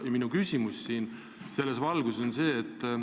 Minu küsimus selles valguses on järgmine.